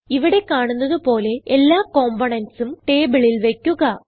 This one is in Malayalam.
ഇവിടെ കാണുന്നത് പോലെ എല്ലാ componentsഉം ടേബിളിൽ വയ്ക്കുക